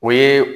O ye